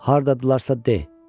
Hardadırılarsa de.